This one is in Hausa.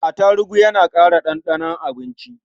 Atarugu yana ƙara ɗanɗanon abinci.